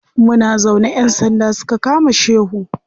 Muna zaune ƴan sanda suka kama shehu.